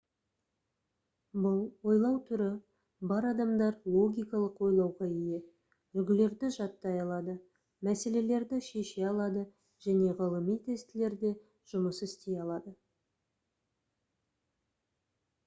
бұл ойлау түрі бар адамдар логикалық ойлауға ие үлгілерді жаттай алады мәселелерді шеше алады және ғылыми тестілерде жұмыс істей алады